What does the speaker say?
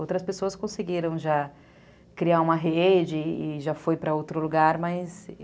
Outras pessoas conseguiram já criar uma rede e já foi para outro lugar, mas...